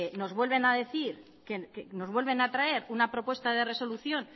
nos vuelven a traer una propuesta de resolución